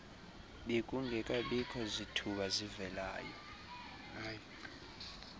bekungekabikho zithuba zivelayo